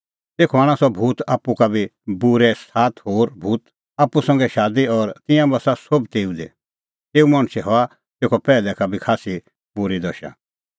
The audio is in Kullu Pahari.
तेखअ आणा सह भूत आप्पू का बी बूरै सात होर भूत आप्पू संघै शादी और तिंयां बस्सा सोभ तेऊ दी तेऊ मणछे हआ तेखअ पैहलै का बी खास्सी बूरी दशा